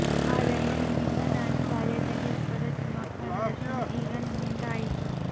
ಆದರೆ ನಿಮ್ಮಿಂದ ನಾನು ಬಾಲ್ಯದಲ್ಲಿ ಒಪ್ಪದ ತಿಮ್ಮಪ್ಪನ ದರ್ಶನ ಈಗ ನಿಮ್ಮಿಂದ ಆಯಿತು